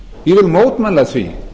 ég vil mótmæla því